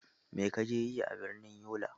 Mai ka je yi a birnin Yola?